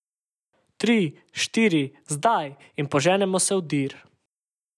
Tri, štiri, zdaj in poženemo se v dir.